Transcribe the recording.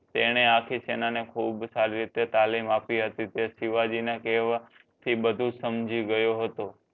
તને આખી સેના ને ખૂબ સારી રીતે તાલીમ આપી હતી તે શિવજી ન કહેવા થી બધુ સમજી ગયો હતો